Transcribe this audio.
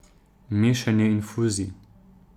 Mešanje infuzij.